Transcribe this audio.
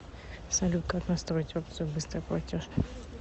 салют как настроить опцию быстрый платеж